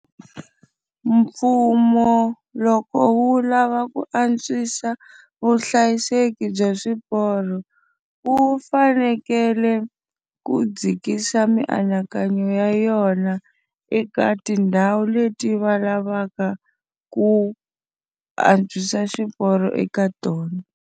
Mfumo loko wu lava ku antswisa vuhlayiseki bya swiporo, wu fanekele ku u dzikisa mianakanyo ya yona eka tindhawu leti va lavaka ku antswisa xiporo eka tona.